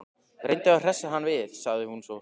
Reyndu að hressa hann við- sagði hún svo.